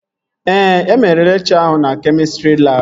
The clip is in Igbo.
Ee, emere lekchọ ahụ na kemịstrị labụ